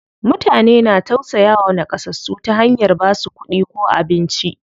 Mutane na tausayawa naƙasassu ta hanyar basu kuɗi ko abinci.